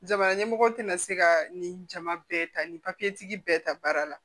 Jamana ɲɛmɔgɔ tɛna se ka nin jama bɛɛ ta nin papiyetigi bɛɛ ta baara la